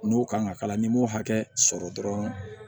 N'o kan ka k'a la n'i m'o hakɛ sɔrɔ dɔrɔn